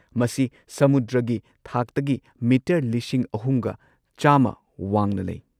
ꯃꯁꯤ ꯁꯃꯨꯗ꯭ꯔꯒꯤ ꯊꯥꯛꯇꯒꯤ ꯃꯤꯇꯔ ꯳꯱꯰꯰ ꯋꯥꯡꯅ ꯂꯩ꯫